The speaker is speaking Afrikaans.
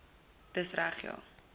dis reg ja